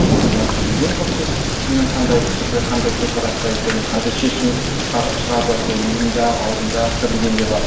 біз бәлкім білген жоқпыз кімнің қандай пікірде қандай көзқараста екенін қандай шешім шығарып жатыр ол миында ауызында пікірінде не бар